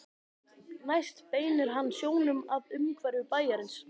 Næst beinir hann sjónum að umhverfi bæjarins.